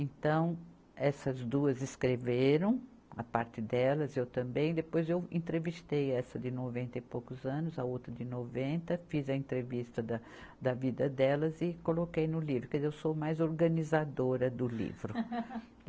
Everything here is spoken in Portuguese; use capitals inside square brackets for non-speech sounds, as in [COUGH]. Então, essas duas escreveram a parte delas, eu também, depois eu entrevistei essa de noventa e poucos anos, a outra de noventa, fiz a entrevista da, da vida delas e coloquei no livro, quer dizer eu sou mais organizadora do livro. [LAUGHS]